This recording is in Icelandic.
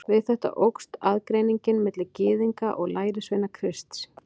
Við þetta óx aðgreiningin milli Gyðinga og lærisveina Krists.